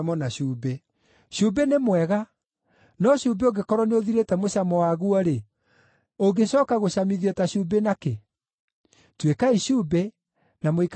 “Cumbĩ nĩ mwega, no cumbĩ ũngĩkorwo nĩũthirĩte mũcamo waguo-rĩ, ũngĩcooka gũcamithio ta cumbĩ na kĩ? Tuĩkai cumbĩ, na mũikaranagie na thayũ.”